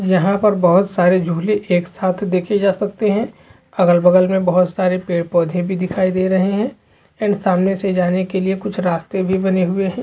यहा पर बहुत सारे झूले एक साथ देखे जा सकते है अगल बगल में बहतु सारे पेड़ पौधे भी दिखाई दे रहै है एंड सामने से जाने के लिए बहुत सरे रस्ते बने हुए है।